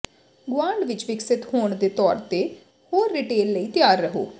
ਗੁਆਂਢ ਵਿਚ ਵਿਕਸਿਤ ਹੋਣ ਦੇ ਤੌਰ ਤੇ ਹੋਰ ਰਿਟੇਲ ਲਈ ਤਿਆਰ ਰਹੋ